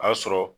A y'a sɔrɔ